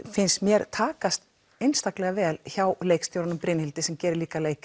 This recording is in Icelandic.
finnst mér takast einstaklega vel hjá leikstjóranum Brynhildi sem gerir líka